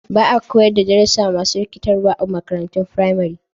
Ba a koyar da darussa masu rikitarwa a makarantun firamare.